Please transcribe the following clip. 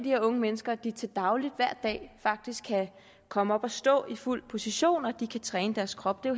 her unge mennesker at de til dagligt faktisk kan komme op at stå i fuld position og træne deres krop det er